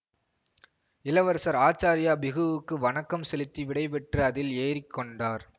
இளவரசர் ஆச்சாரிய பிஹுவுக்கு வணக்கம் செலுத்தி விடைபெற்று அதில் ஏறி கொண்டார்